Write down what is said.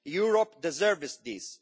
Europe deserves this.